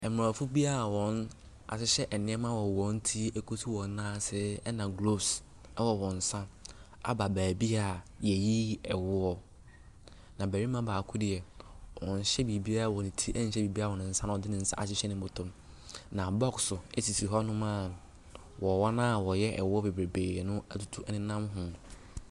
Aborɔfo bi wɔahyehyɛ nneɛma wɔ wɔn ti so kɔsi wɔ nan ase na gloves wɔ wɔn nsa aba beebi a yɛyi woɔ. Na barima baako deɛ, ɔnhyɛ biribiara wɔn ne ti nhyɛ biribiara wɔ nsa na ɔde ne nsa ahyehyɛ ne bɔtɔ mu. Na bɔkso sisi hɔnom a mmoawa no a wɔyɛ woɔ bebree no nenam ho.